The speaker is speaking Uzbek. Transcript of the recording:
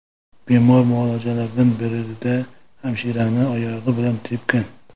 Bemor muolajalardan birida hamshirani oyog‘i bilan tepgan.